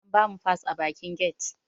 An bamu fas a bakin get